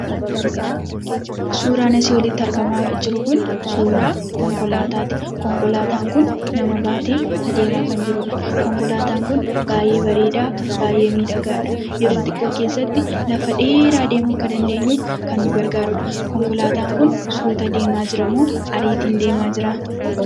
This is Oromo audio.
Suuraan asii olitti argaam jiru kun suuraa konkolaataati. Konkolaataan kun nama baatee kan adeemaa jirudha. Konkolaataan kun baay'ee bareedaa, baay'ee miidhagaadha. Yeroo xiqqaa keessatti lafa dheeraa deemuu akka dandeenyuuf, kan nu gargaarudha. Konkolaataan kun suuta deemaa jira moo ariitiin deemaa jira?